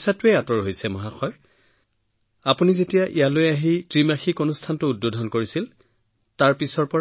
সমস্যাবোৰ শেষ হৈছে আৰু ছাৰ যেতিয়া আপুনি ইয়ালৈ আহিছিল আৰু আপুনি ইয়াত উদ্বোধন কৰা সেই ত্ৰিমাসিক প্ৰদৰ্শনী তাৰ পিছত